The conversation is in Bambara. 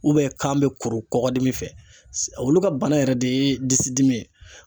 kan bɛ kuru kɔgɔdimi fɛ olu ka bana yɛrɛ de ye disidimi ye.